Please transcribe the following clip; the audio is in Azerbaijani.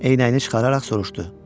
Eynəyini çıxararaq soruşdu.